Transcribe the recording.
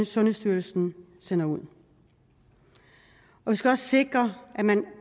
sundhedsstyrelsen sender ud vi skal også sikre at man